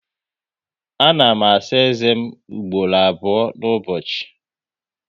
A na m asa eze m ugboro abụọ n'ụbọchị